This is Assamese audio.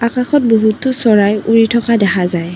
আকাশত বহুতো চৰাই উৰি থকা দেখা যায়।